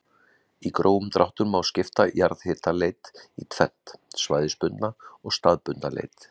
Í grófum dráttum má skipta jarðhitaleit í tvennt, svæðisbundna og staðbundna leit.